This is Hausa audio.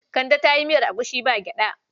Kande ta yi miyar agushi ba gyaɗa.